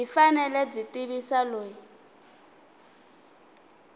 byi fanele byi tivisa loyi